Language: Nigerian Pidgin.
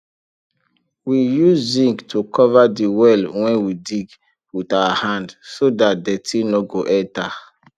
we use zinc to cover de well wen we dig wit our hand so dat dirty nor go enta